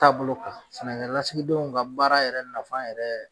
Taabolo kan sɛnɛkɛ lasigidenw ka baara yɛrɛ nafa yɛrɛ.